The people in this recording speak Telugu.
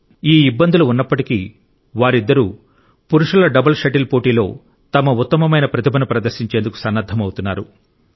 కానీ ఈ ఇబ్బందులు ఉన్నప్పటికీ వారిద్దరూ పురుషుల డబుల్ షటిల్ పోటీలో తమ ఉత్తమమైన ప్రతిభను ప్రదర్శించేందుకు సన్నద్ధమవుతున్నారు